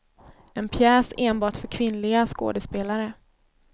En pjäs enbart för kvinnliga skådespelare.